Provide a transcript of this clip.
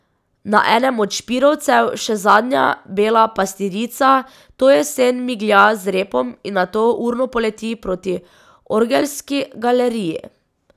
Na enem od špirovcev še zadnja bela pastirica to jesen miglja z repom in nato urno poleti proti orgelski galeriji.